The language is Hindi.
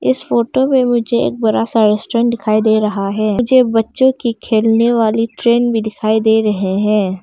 इस फोटो में मुझे एक बड़ा सा रेस्टोरेंट दिखाई दे रहा है। मुझे बच्चों की खेलने वाली ट्रेन भी दिखाई दे रहे हैं।